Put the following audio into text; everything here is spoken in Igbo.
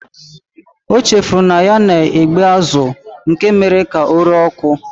O chefuru na ya na-egbe azụ nke mere ka ọ ree ọkụ.